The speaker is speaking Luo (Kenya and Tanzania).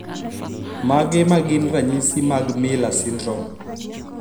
Mage magin ranyisi mag Miller syndrome